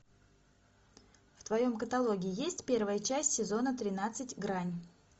в твоем каталоге есть первая часть сезона тринадцать грань